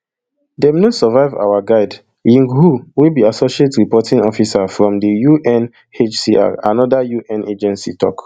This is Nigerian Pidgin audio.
dem no survive our guide ying hu wey be associate reporting officer from di unhcr anoda un agency tok